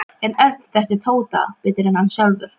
En Örn þekkti Tóta betur en hann sjálfur.